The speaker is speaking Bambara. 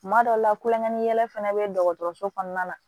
Tuma dɔw la kulonkɛ yɛlɛ fana bɛ dɔgɔtɔrɔso kɔnɔna la